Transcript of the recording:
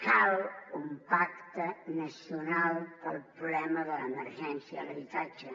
cal un pacte nacional per al problema de l’emergència a l’habitatge